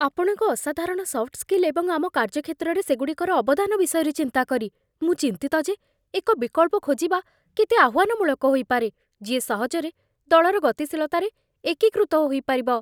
ଆପଣଙ୍କ ଅସାଧାରଣ soft skill ଏବଂ ଆମ କାର୍ଯ୍ୟକ୍ଷେତ୍ରରେ ସେଗୁଡ଼ିକର ଅବଦାନ ବିଷୟରେ ଚିନ୍ତା କରି, ମୁଁ ଚିନ୍ତିତ ଯେ ଏକ ବିକଳ୍ପ ଖୋଜିବା କେତେ ଆହ୍ୱାନମୂଳକ ହୋଇପାରେ, ଯିଏ ସହଜରେ ଦଳର ଗତିଶୀଳତାରେ ଏକୀକୃତ ହୋଇପାରିବ